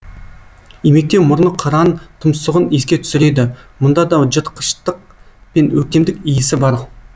имектеу мұрны қыран тұмсығын еске түсіреді мұнда да жыртқыштық пен өктемдік иісі бар